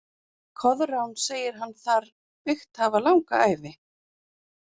Koðrán segir hann þar byggt hafa langa ævi.